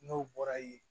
N'o bɔra yen